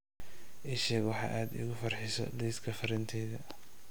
ii sheeg wax aad iigu farxiso liiska fariinteyda